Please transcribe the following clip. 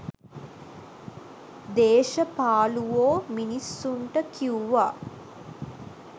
දේශපාලුවෝ මිනිස්සුන්ට කිවුවා